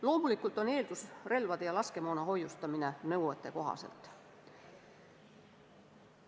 Loomulikult on eelduseks relvade ja laskemoona nõuetekohane hoiustamine.